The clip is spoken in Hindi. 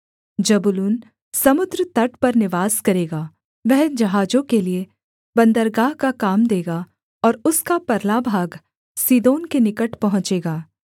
जबूलून समुद्र तट पर निवास करेगा वह जहाजों के लिये बन्दरगाह का काम देगा और उसका परला भाग सीदोन के निकट पहुँचेगा